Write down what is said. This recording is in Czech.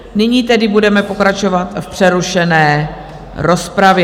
Nyní tedy budeme pokračovat v přerušené rozpravě.